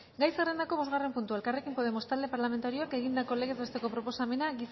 gai zerrendako bosgarren puntua elkarrekin podemos talde parlamentarioak egindako legez besteko proposamena